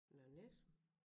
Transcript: Nørre Nissum